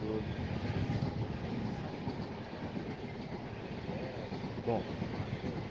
Daí eu tenho Você sabe um pouco da história deles assim, de onde eles vieram, bom se vieram de lá mesmo?